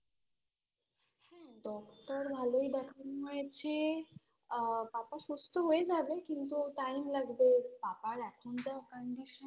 হ্যা Doctor ভালোই দেখানো হয়েছে আ পাপা সুস্থ হয়ে যাবে কিন্তু Time লাগবে পাপার এখন যা Condition